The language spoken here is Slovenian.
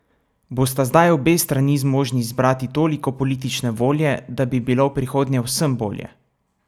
Bosta zdaj obe strani zmožni zbrati toliko politične volje, da bi bilo v prihodnje vsem bolje?